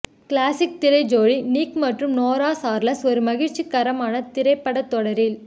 classic திரை ஜோடி Nick மற்றும் நோரா சார்லஸ் ஒரு மகிழ்ச்சிகரமான திரைப்படத் தொடரில்